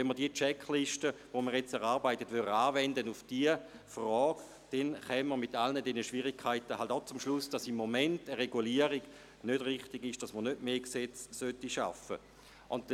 Wenn wir diese Checkliste, die wir jetzt erarbeiten, auf diese Frage anwenden würden, dann kämen wir in Anbetracht all dieser Schwierigkeiten zum Schluss, dass eine Regulierung im Moment nicht richtig wäre und dass man nicht mehr Gesetze schaffen sollte.